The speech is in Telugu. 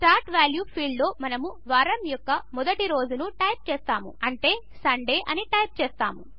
స్టార్ట్ వాల్యూ ఫీల్డ్లో మనము వారము యొక్క మొదటి రోజును టైప్ చేస్తాము అంటే సండే అని టైప్ చేస్తాము